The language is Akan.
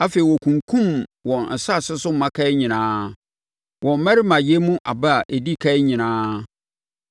Afei ɔkunkumm wɔn asase so mmakan nyinaa, wɔn mmarimayɛ mu aba a ɛdi ɛkan nyinaa.